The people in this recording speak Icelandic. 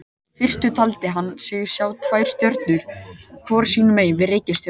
Í fyrstu taldi hann sig sjá tvær stjörnur hvor sínu megin við reikistjörnuna.